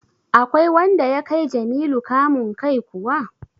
Akwai wanda ya kai Jamilu kamun kai kuwa?